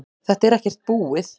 Þetta er ekkert búið